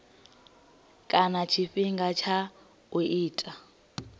kana tshifhinga tsha u itwa